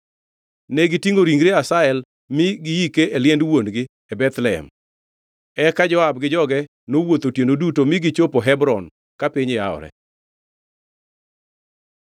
Negitingʼo ringre Asahel mi giike e liend wuon-gi e Bethlehem. Eka Joab gi joge nowuotho otieno duto mi gichopo Hebron ka piny yawore.